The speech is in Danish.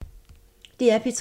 DR P3